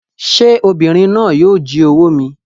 Sé obìnrin náà yíì o jí owó mi